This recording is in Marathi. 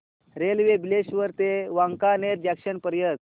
रेल्वे बिलेश्वर ते वांकानेर जंक्शन पर्यंत